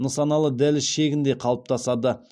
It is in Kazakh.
нысаналы дәліз шегінде қалыптасады